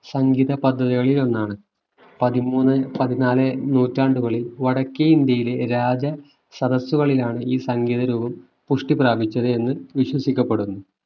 സംഗീത പദവികളിൽ ഒന്നാണ് പതിമൂന്ന് പതിനാല് നൂറ്റാണ്ടുകളിൽ വടക്കേ ഇന്ത്യയിലെ രാജ സദസുകളിലാണ് ഈ സംഗീത രൂപം പുഷ്ടി പ്രാപിച്ചത് എന്ന് വിശ്വസിക്കപ്പെടുന്നു